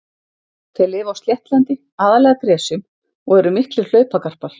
Þeir lifa á sléttlendi, aðallega gresjum og eru miklir hlaupagarpar.